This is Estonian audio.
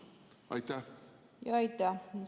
Aitäh!